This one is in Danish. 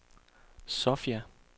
Sofia